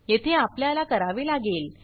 येथे आपल्याला करावे लागेल